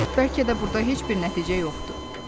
Bəlkə də burda heç bir nəticə yoxdur.